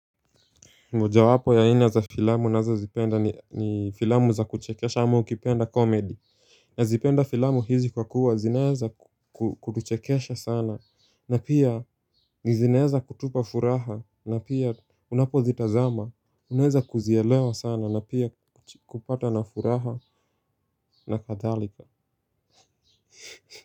Mojawapo ya aina za filamu nazozipenda ni filamu za kuchekesha ama ukipenda komedi. Nazipenda filamu hizi kwa kuwa zinaeza kukuchekesha sana na pia zinaeza kutupa furaha na pia unapozitazama. Unaeza kuzielewa sana na pia kupata na furaha na kadhalika.